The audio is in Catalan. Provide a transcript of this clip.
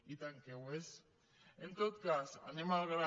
i tant que ho és en tot cas anem al gra